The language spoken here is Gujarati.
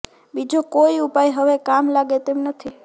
બીજો કોઈ ઉપાય હવે કામ લાગે તેમ નથી